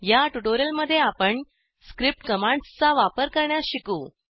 या ट्युटोरियलमध्ये आपण स्क्रिप्ट कमांड्सचा वापर करण्यास शिकू